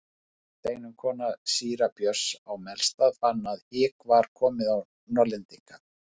Steinunn kona síra Björns á Melstað fann að hik var komið á Norðlendinga.